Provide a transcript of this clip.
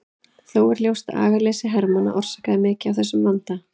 Þó er ljóst að agaleysi hermanna orsakaði mikið af þessum vanda.